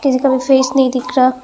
एकदम फेस नहीं दिख रहा--